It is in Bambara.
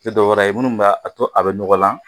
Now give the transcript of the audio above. Tɛ dɔwɛrɛ ye minnu bɛ a to a bɛ nɔgɔlan